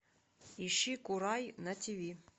ищи курай на тв